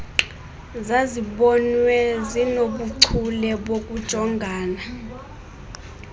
zazibonwa zinobuchule bokujongana